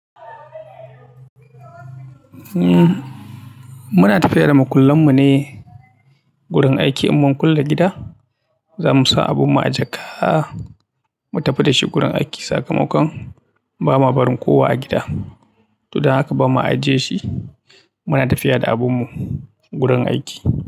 Muna tafiya da makullan mu ne gurin aiki in mun kulle gida. Za mu sa abun mu a jaka, mu tafi da shi gurin aiki sakamakon ba ma barin kowa a gida. Tudun haka ba ma ajiye shi. Muna tafiya da abun mu gurin aiki.